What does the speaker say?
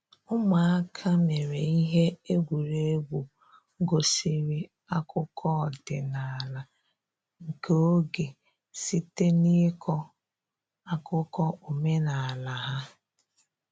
Ụmụaka mere ihe egwuregwu gosiri akụkọ ọdịnala nke oge site n’ịkọ akụkọ omenala ha.